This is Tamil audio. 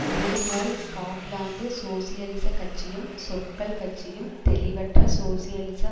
இதே போல் ஸ்காட்லாந்து சோசியலிசக் கட்சியும் சொற்கள் கட்சியும் தெளிவற்ற சோசியலிச